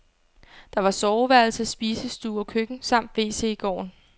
Der var soveværelse, spisestue og køkken samt wc i gården.